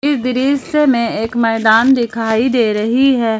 इस दृश्य में एक मैदान दिखाई दे रही है।